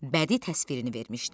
Bədii təsvirini vermişdi.